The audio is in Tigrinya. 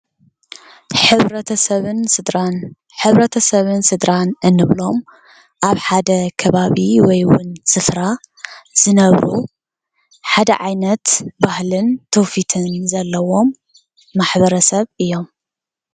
ሕብረተሰብን ስድራን፥-ሕብረተሰብን ስድራን እንብሎም ኣብ ሓደ ከባቢ ወይ እውን ስፍራ ዝነብሩ ሓደ ዓይነት ባህልን ትውፊትን ዘለዎም ማሕበረሰብ እዮም፡፡